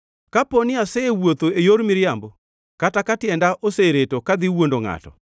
“Kapo ni asewuotho e yor miriambo kata ka tienda osereto kadhi wuondo ngʼato,